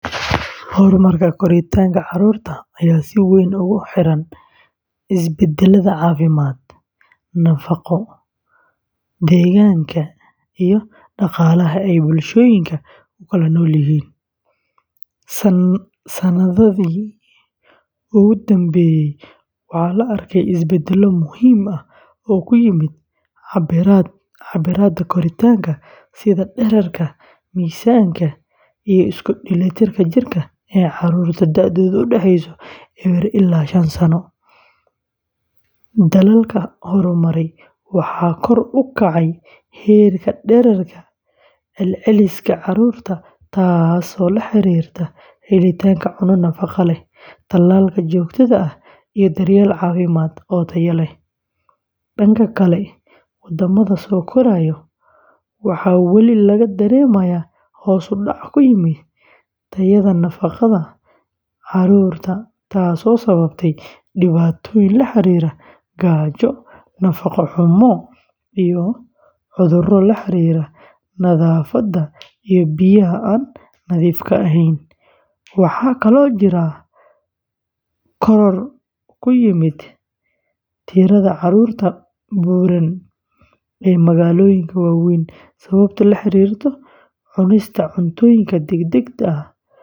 Horumarka koritaanka carruurta ayaa si weyn ugu xiran isbeddellada caafimaad, nafaqo, deegaanka iyo dhaqaalaha ee bulshooyinka ay ku nool yihiin. Sanadihii u dambeeyey, waxaa la arkay isbeddello muhiim ah oo ku yimid cabbirrada koritaanka sida dhererka, miisaanka iyo isku dheelitirka jirka ee carruurta da’doodu u dhexeyso ewer ilaa shaan sano. Dalalka horumaray waxaa kor u kacay heerka dhererka celceliska carruurta taasoo la xiriirta helitaanka cunto nafaqo leh, tallaalka joogtada ah, iyo daryeel caafimaad oo tayo leh. Dhanka kale, waddamada soo koraya, waxaa weli laga dareemayaa hoos u dhac ku yimid tayada nafaqada carruurta taasoo sababtay dhibaatooyin la xiriira gaajo, nafaqo-xumo, iyo cudurro la xiriira nadaafadda iyo biyaha aan nadiifka ahayn. Waxaa kaloo jira koror ku yimid tirada carruurta buuran ee magaalooyinka waaweyn sabab la xiriirta cunista cuntooyin degdeg ah.